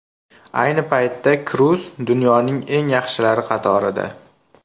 Ayni paytda Kroos dunyoning eng yaxshilari qatorida.